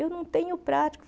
Eu não tenho